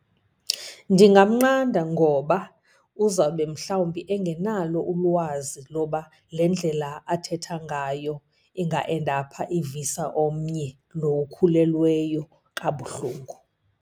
Ndingamnqanda ngoba uzawube mhlawumbi engenalo ulwazi loba le ndlela athetha ngayo inga-endapha ivisa omnye lo ukhulelweyo kabuhlungu.